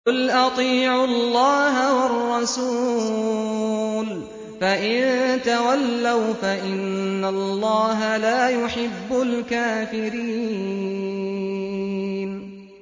قُلْ أَطِيعُوا اللَّهَ وَالرَّسُولَ ۖ فَإِن تَوَلَّوْا فَإِنَّ اللَّهَ لَا يُحِبُّ الْكَافِرِينَ